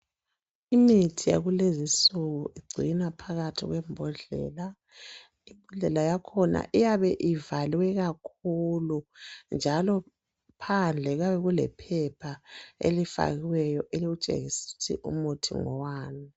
Imithi yakulezi insuku igcinwa phakathi kwebhodlela. Ibhodlela yakhona iyabe ivalwe kakhulu, njalo phandle kuyabe kulephepha elifakiweyo elitshengis'ukuthi umuthi ngowani.